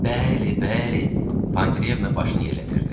Bəli, bəli, Pantileyevna başını yellədirdi.